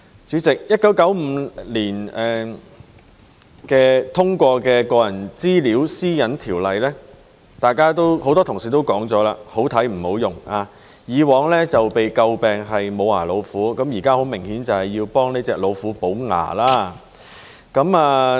主席 ，1995 年通過的《個人資料條例》，很多同事也說是"好睇唔好用"，以往被詬病是"無牙老虎"，現在很明顯是要替這隻老虎補牙。